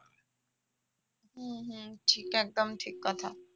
হম হম সেটা তো একদম ঠিক কথা